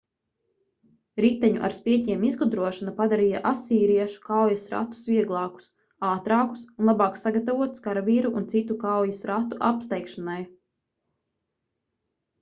riteņu ar spieķiem izgudrošana padarīja asīriešu kaujas ratus vieglākus ātrākus un labāk sagatavotus karavīru un citu kaujas ratu apsteigšanai